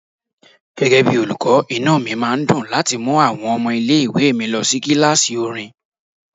Gẹ́gẹ́ bí olùkọ́, inú mi máa dùn láti má mú àwọn ọmọ ilé ìwé mi lọ sí kíláàsì orin.